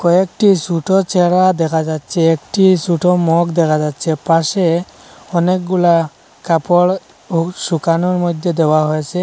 কয়েকটি সুটো চারা দেখা যাচ্ছে একটি সুটো মগ দেখা যাচ্ছে পাশে অনেকগুলা কাপড়ও শুকানোর মধ্যে দেওয়া হয়েসে।